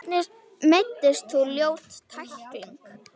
Hvernig meiddist þú, ljót tækling?